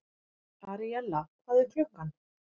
Aríella, hvað er klukkan?